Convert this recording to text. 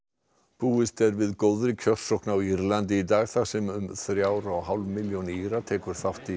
búist er við góðri kjörsókn á Írlandi í dag þar sem um þrjár og hálf milljón Íra tekur þátt í